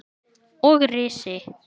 Og risi!